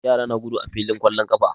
Yara na gudu a filin ƙwallon ƙafa.